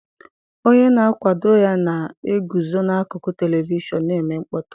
Onye na-akwado ya na-eguzo n'akụkụ telivishọn na-eme mkpọtụ.